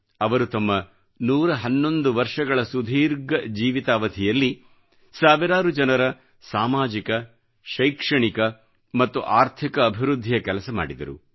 ಅವರು ತಮ್ಮ 111 ವರ್ಷಗಳ ಸುದೀರ್ಘ ಜೀವಿತಾವಧಿಯಲ್ಲಿ ಸಾವಿರಾರು ಜನರ ಸಾಮಾಜಿಕ ಶೈಕ್ಷಣಿಕ ಮತ್ತು ಆರ್ಥಿಕ ಅಭಿವೃದ್ಧಿಯ ಕೆಲಸ ಮಾಡಿದರು